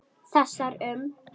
Þessar um